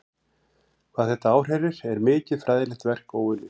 Hvað þetta áhrærir er mikið fræðilegt verk óunnið.